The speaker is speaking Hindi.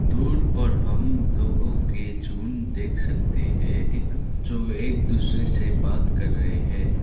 दूर पर हम लोगों के झुंड देख सकते है इकन जो एक दूसरे से बात कर रहे है।